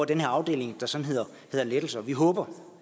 den her afdeling der sådan hedder lettelser vi håber